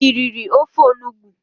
i riri ofe Onugbu?